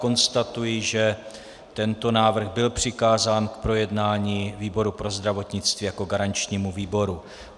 Konstatuji, že tento návrh byl přikázán k projednání výboru pro zdravotnictví jako garančnímu výboru.